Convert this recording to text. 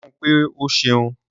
Sọ fún pé o ṣeun